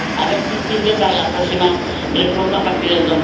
A ver si sirve para la próxima reforma a partir de